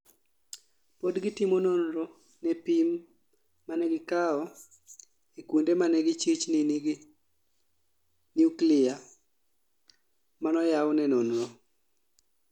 Podgitimo nonro ne pim manegikao e kuonde manegichich nigi nuklia manoyau ne nonro